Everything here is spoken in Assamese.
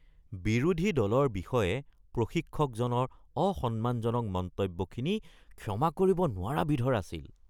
বিৰোধী দলৰ বিষয়ে প্ৰশিক্ষকজনৰ অসন্মানজনক মন্তব্যখিনি ক্ষমা কৰিব নোৱাৰা বিধৰ আছিল